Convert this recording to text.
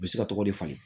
U bɛ se ka tɔgɔ de falen